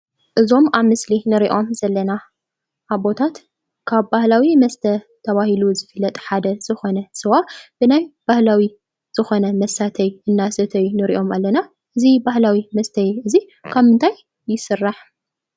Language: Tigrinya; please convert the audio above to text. እዞም ኣብ ምስሊ እንሪኦም ዘለና ኣቦታት ካብ ባህላዊ መስተ ተባሂሉ ዝፍለጥ ሓደ ዝኮነ ስዋ ናይ ባህላዊ ዝኮነ መሳተዪ እንዳሰተዩ ንሪኦም ኣለና ። እዚ ባህላዊ መስተዪ ካብ ምንታይ ይስራሕ?